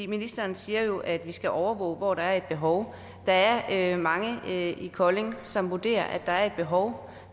ministeren siger jo at vi skal overvåge hvor der er et behov der er mange i kolding som vurderer at der er et behov